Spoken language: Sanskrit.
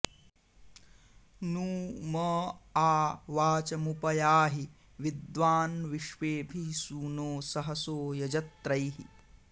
नू म॒ आ वाच॒मुप॑ याहि वि॒द्वान्विश्वे॑भिः सूनो सहसो॒ यज॑त्रैः